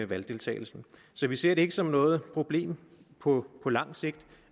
valgdeltagelsen så vi ser det ikke som noget problem på langt sigt